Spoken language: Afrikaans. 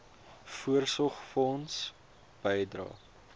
voorsorgfonds bydrae